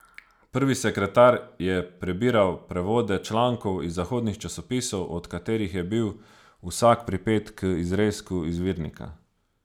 Prvi sekretar je prebiral prevode člankov iz zahodnih časopisov, od katerih je bil vsak pripet k izrezku izvirnika.